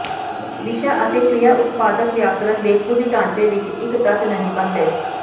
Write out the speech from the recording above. ਵਿਸ਼ਾ ਅਤੇ ਕ੍ਰਿਆ ਉਤਪਾਦਕ ਵਿਆਕਰਣ ਦੇ ਕੁਝ ਢਾਂਚੇ ਵਿੱਚ ਇੱਕ ਤੱਤ ਨਹੀਂ ਬਣਦੇ